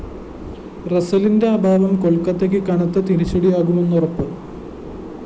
റസ്സലിന്റെ അഭാവം കൊല്‍ക്കത്തക്ക് കനത്ത തിരിച്ചടിയാകുമെന്ന് ഉറപ്പ്